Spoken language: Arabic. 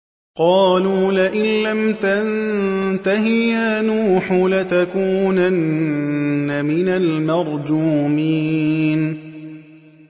قَالُوا لَئِن لَّمْ تَنتَهِ يَا نُوحُ لَتَكُونَنَّ مِنَ الْمَرْجُومِينَ